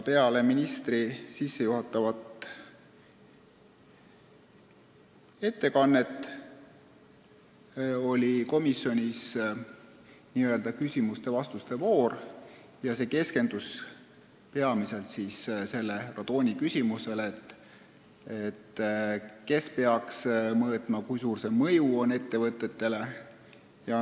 Peale ministri sissejuhatavat ettekannet oli komisjonis küsimuste-vastuste voor, mis keskendus peamiselt radooni küsimusele: kes peaks selle sisaldust mõõtma ja kui suur on selle mõju ettevõtetele.